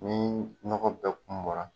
Ni nɔgɔ bɛ kun bɔra